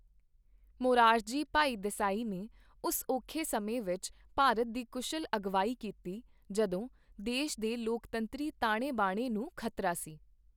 ਮੋਰਾਰਜੀ ਭਾਈ ਦੇਸਾਈ ਨੇ ਉਸ ਔਖੇ ਸਮੇਂ ਵਿੱਚ ਭਾਰਤ ਦੀ ਕੁਸ਼ਲ ਅਗਵਾਈ ਕੀਤੀ, ਜਦੋਂ ਦੇਸ਼ ਦੇ ਲੋਕਤੰਤਰੀ ਤਾਣੇ ਬਾਣੇ ਨੂੰ ਖ਼ਤਰਾ ਸੀ।